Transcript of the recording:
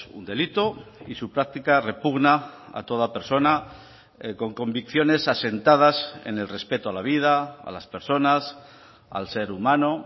un delito y su práctica repugna a toda persona con convicciones asentadas en el respeto a la vida a las personas al ser humano